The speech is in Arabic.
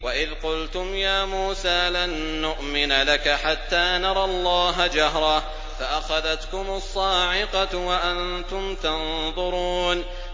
وَإِذْ قُلْتُمْ يَا مُوسَىٰ لَن نُّؤْمِنَ لَكَ حَتَّىٰ نَرَى اللَّهَ جَهْرَةً فَأَخَذَتْكُمُ الصَّاعِقَةُ وَأَنتُمْ تَنظُرُونَ